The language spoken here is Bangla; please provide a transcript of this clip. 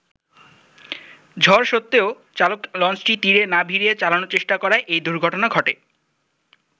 ঝড় স্বত্ত্বেও চালক লঞ্চটি তীরে না ভিড়িয়ে চালানোর চেষ্টা করায় এই দূর্ঘটনা ঘটে।